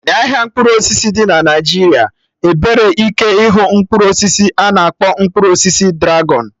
n'ahịa mkpụrụ osisi dị na Naijiria, ebere ike ịhụ Mkpụrụ osisi a na-akpọ mkpụrụ osisi dragọn